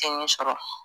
Kɛɲɛ sɔrɔ